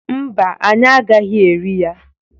Mba, anyi agaghi eri ya.